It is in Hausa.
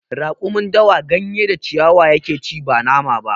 Raƙumin dawa gayen da ciwaya ya ke ci ba nama ba